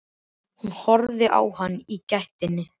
Ég loka augunum og lýt höfði.